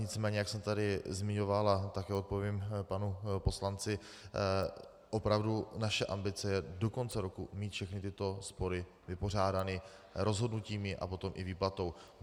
Nicméně jak jsem tady zmiňoval a také odpovím panu poslanci, opravdu naše ambice je do konce roku mít všechny tyto spory vypořádány rozhodnutími a potom i výplatou.